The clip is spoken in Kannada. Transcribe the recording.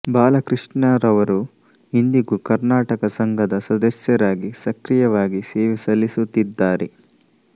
ಬಾಲಕೃಷ್ಣರವರು ಇಂದಿಗೂ ಕರ್ನಾಟಕ ಸಂಘದ ಸದಸ್ಯರಾಗಿ ಸಕ್ರಿಯವಾಗಿ ಸೇವೆ ಸಲ್ಲಿಸುತ್ತಿದ್ದಾರೆ